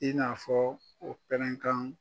I n'a fɔ o pɛrɛnkan